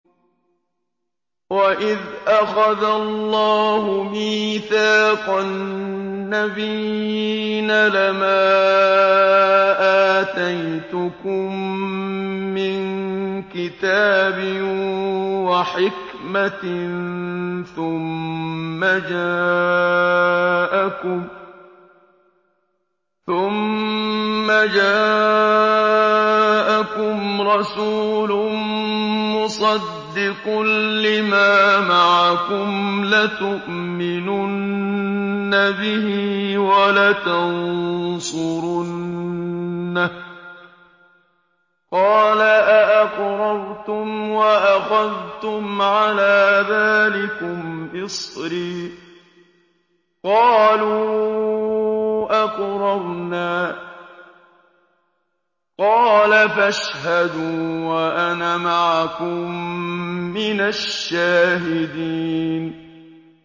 وَإِذْ أَخَذَ اللَّهُ مِيثَاقَ النَّبِيِّينَ لَمَا آتَيْتُكُم مِّن كِتَابٍ وَحِكْمَةٍ ثُمَّ جَاءَكُمْ رَسُولٌ مُّصَدِّقٌ لِّمَا مَعَكُمْ لَتُؤْمِنُنَّ بِهِ وَلَتَنصُرُنَّهُ ۚ قَالَ أَأَقْرَرْتُمْ وَأَخَذْتُمْ عَلَىٰ ذَٰلِكُمْ إِصْرِي ۖ قَالُوا أَقْرَرْنَا ۚ قَالَ فَاشْهَدُوا وَأَنَا مَعَكُم مِّنَ الشَّاهِدِينَ